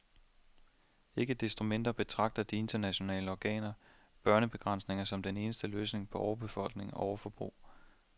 Ikke desto mindre betragter de internationale organer stadig børnebegrænsning som den eneste løsning på overbefolkning og overforbrug.